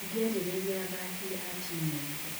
" Ndingĩarĩrĩria athaki a timu ingĩ.